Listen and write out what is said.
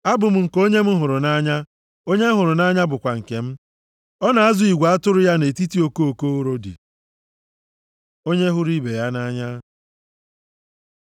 Abụ m nke onye m hụrụ nʼanya, onye m hụrụ nʼanya bụkwa nke m. Ọ na-azụ igwe atụrụ ya nʼetiti okoko urodi. Onye hụrụ ibe ya nʼanya